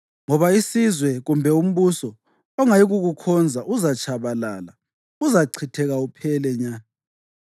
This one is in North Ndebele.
Ngoba isizwe kumbe umbuso ongayikukukhonza uzatshabalala; uzachitheka uphele nya.